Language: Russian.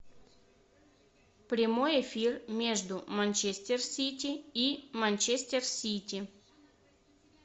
прямой эфир между манчестер сити и манчестер сити